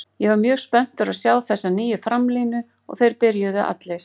Ég var mjög spenntur að sjá þessa nýju framlínu og þeir byrjuðu allir.